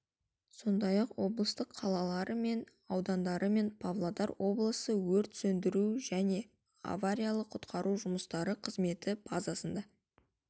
сондай-ақ облыстың қалалары мен аудандары мен павлодар облысы өрт сөндіру және авариялық құтқару жұмыстары қызметі базасында